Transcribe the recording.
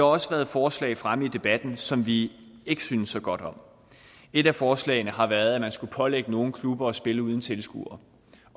også været forslag fremme i debatten som vi ikke synes så godt om et af forslagene har været at man skulle pålægge nogle klubber at spille uden tilskuere